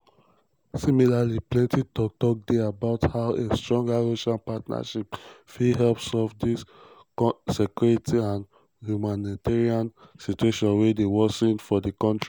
similarly plenti tok-tok dey about how a stronger russian partnership fit help solve di security and humanitarian situation wey dey worsen for di kontri.